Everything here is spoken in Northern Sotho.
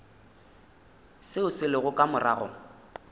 seo se lego ka morago